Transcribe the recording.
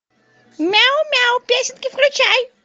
мяу мяу песенки включай